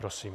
Prosím.